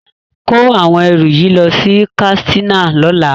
Kó àwọn ẹrù yìí lọ sí Katsina lọ́la.